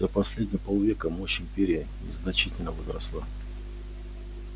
за последние полвека мощь империи значительно возросла